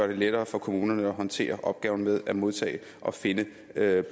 det lettere for kommunerne at håndtere opgaven med at modtage og finde